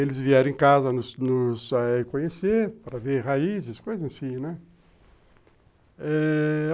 Eles vieram em casa nos nos conhecer, para ver raízes, coisa assim, né? eh...